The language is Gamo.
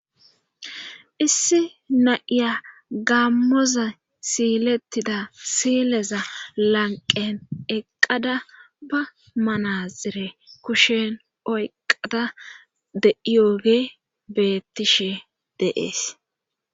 issi na7iya gammoza siilettida sileza lanqen eqqada ba manaxire kushen oyqada de7iyooge bettishe deees